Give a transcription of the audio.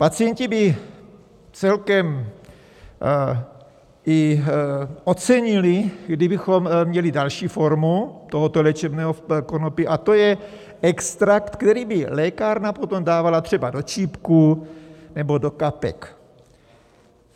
Pacienti by celkem i ocenili, kdybychom měli další formu tohoto léčebného konopí, a to je extrakt, který by lékárna potom dávala třeba do čípků nebo do kapek.